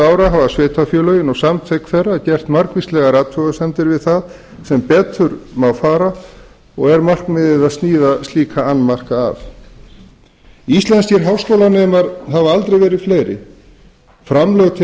ára hafa sveitarfélögin og samtök þeirra gert margvíslegar athugasemdir við það sem betur má fara og er markmiðið að sníða slíka annmarka af íslenskir háskólanemar hafa aldrei verið fleiri framlög til